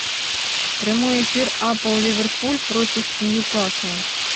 прямой эфир апл ливерпуль против ньюкасла